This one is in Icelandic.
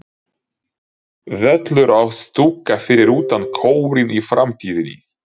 Völlur og stúka fyrir utan Kórinn í framtíðinni?